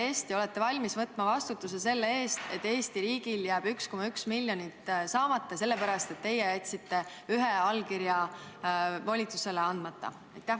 Kas te olete valmis võtma vastutuse selle eest, et Eesti riigil jääb 1,1 miljonit saamata, sest teie jätsite ühe allkirja volitusele andmata?